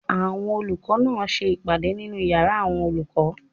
Àwọn olùkọ́ náà ń ṣe ìpàdé nínu yàrá àwọn olùkọ́